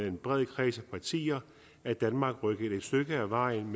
en bred kreds af partier er danmark rykket et stykke ad vejen